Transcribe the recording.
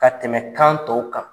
Ka tɛmɛ kan tɔw kan